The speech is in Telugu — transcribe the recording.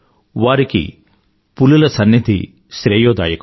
వారికి పులుల సన్నిధి శ్రేయోదాయకం